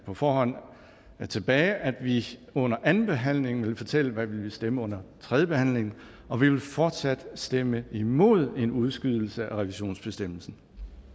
på forhånd tilbage at vi under andenbehandlingen ville fortælle hvad vi ville stemme under tredjebehandlingen og vi vil fortsat stemme imod en udskydelse af revisionsbestemmelsen